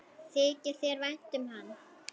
Þykir þér vænt um hann?